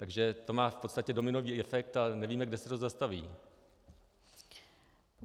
Takže to má v podstatě dominový efekt a nevíme, kde se to zastaví.